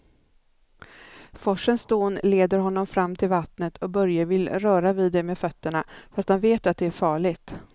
Forsens dån leder honom fram till vattnet och Börje vill röra vid det med fötterna, fast han vet att det är farligt.